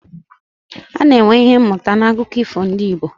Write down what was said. A na-enwe Ihe mụta n'akụkọ ifo ndị Igbo